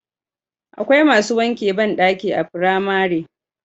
Akwai masu wanke bandaki a firamare